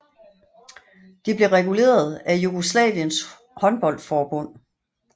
De blev reguleret af Jugoslaviens håndboldforbund